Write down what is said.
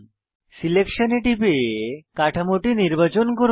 selection এ টিপে কাঠামোটি নির্বাচন করুন